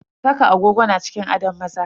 Saka agogo na cikin adon maza.